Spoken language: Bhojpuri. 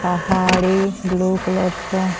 पहाड़े ब्लू कलर का --